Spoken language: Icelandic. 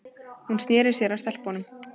Hún sneri sér að stelpunum.